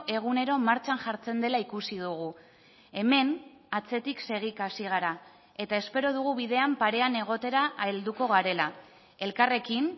egunero martxan jartzen dela ikusi dugu hemen atzetik segika hasi gara eta espero dugu bidean parean egotera helduko garela elkarrekin